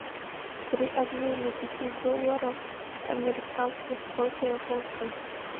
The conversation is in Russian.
при обмене пяти долларов американских сколько я получу